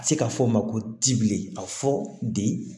A bɛ se ka fɔ o ma ko tibilen ka fɔ de